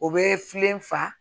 O bɛ filen fa